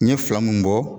N ɲe fila mun bɔ